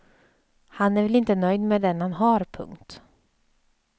Han är väl inte nöjd med den han har. punkt